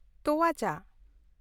ᱛᱳᱣᱟ ᱪᱟ ᱾